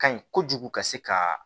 Ka ɲi kojugu ka se ka